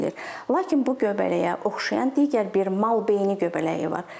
Lakin bu göbələyə oxşayan digər bir mal beyini göbələyi var.